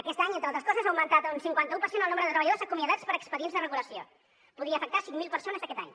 aquest any entre altres coses ha augmentat un cinquanta un per cent el nombre de treballadors acomiadats per expedients de regulació podria afectar cinc mil persones aquest any